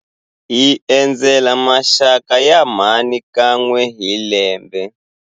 Hi endzela maxaka ya mhani kan'we hi lembe.